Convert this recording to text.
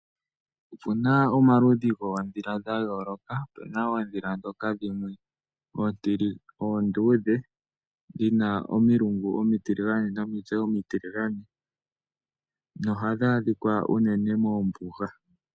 Opu na omaludhi goodhila dha yooloka opu na oodhila dhoka oonduudhe dhina omilungu omitiligane nomitse omitiligane, noha dhi adhika unene moombuga.